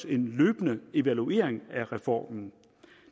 en løbende evaluering af reformen